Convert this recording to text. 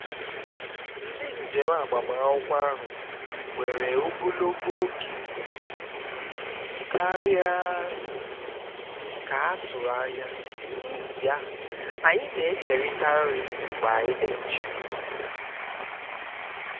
ndị njem agbamakwụkwọ ahụ were ogologo oge um karịa um ka a turu anya n'ihi ya anyị na-ekerịta nri mgbe anyị na-eche